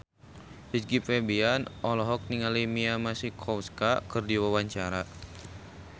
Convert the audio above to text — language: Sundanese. Rizky Febian olohok ningali Mia Masikowska keur diwawancara